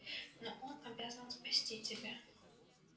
но он обязан спасти тебя